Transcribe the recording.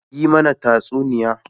Yi mana tatsuniya.